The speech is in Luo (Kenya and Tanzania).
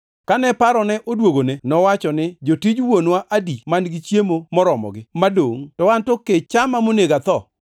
“Kane parone odwogone, nowacho ni, ‘Jotij wuonwa adi man-gi chiemo moromogi, madongʼ, to an to kech chama monego atho!